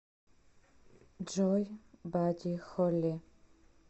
джой бадди холли